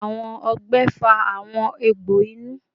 Awọn ọgbẹ fa awọn egbo inu